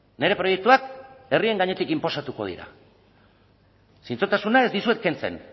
nire proiektuak herrien gainetik inposatuko dira zintzotasuna ez dizuet kentzen